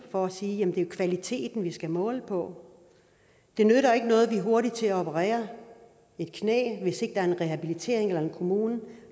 for at sige at det er kvaliteten der skal måles på det nytter ikke noget man er hurtige til at operere et knæ hvis ikke der er en rehabilitering eller en kommune